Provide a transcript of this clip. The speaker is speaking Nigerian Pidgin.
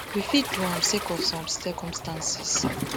we fit do am sake of some circumstances